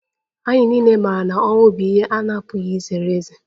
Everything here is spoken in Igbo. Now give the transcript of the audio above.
Anyị niile maara na ọnwụ bụ ihe a na-apụghị izere ezere